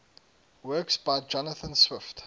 works by jonathan swift